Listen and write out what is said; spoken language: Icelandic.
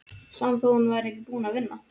Sama þó að hún væri ekki búin að vinna.